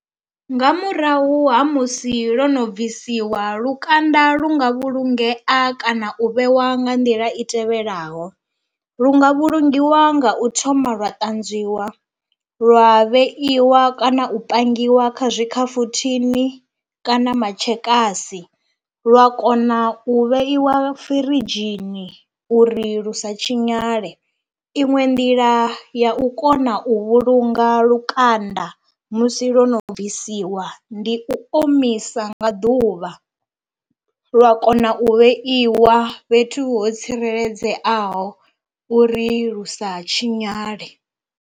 Nga murahu ha musi lwo no bvisiwa lukanda lu nga vhulungea kana u vhewa nga nḓila i tevhelaho, lu nga vhulungiwa nga u thoma lwa ṱanzwiwa lwa vheiwa kana u pangiwa kha zwi tshikhafuthini kana matshekasi lwa kona u vheiwa firidzhini uri lu sa tshinyale, iṅwe nḓila ya u kona u vhulunga lukanda musi lwo no bvisiwa ndi u omisa nga ḓuvha lwa kona u vheiwa fhethu ho tsireledzeaho uri lu sa tshinyale.